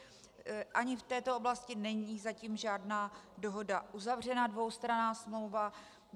Ani v této oblasti není zatím žádná dohoda uzavřena - dvoustranná smlouva.